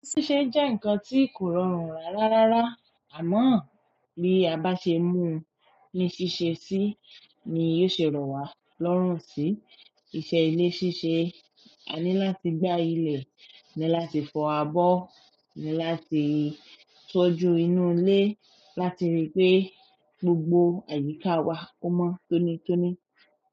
Ṣíṣe jẹ́ ǹkan tí kò rọrùn rà rárá, àmọ́ bí a bá ṣe mú ní ṣíṣe sí ni yóò ṣe rọ wá lọ́rùn sí. Ìṣe ilé ṣíṣe, a ní láti gbá ilẹ̀, ní láti fọ abọ́, ní láti tọ́jú inú ilé láti rí pé gbogbo àyíká wa ọ́ mọ́ tónítóní.